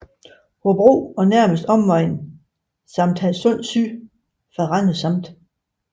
Hobro og nærmeste omegn samt Hadsund Syd fra Randers Amt